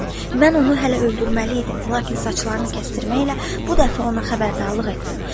Mən onu hələ öldürməli idim, lakin saçlarını kəsdirməklə bu dəfə ona xəbərdarlıq etdim.